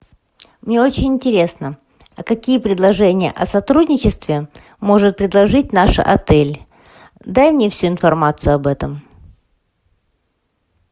мне очень интересно а какие предложения о сотрудничестве может предложить наш отель дай мне всю информацию об этом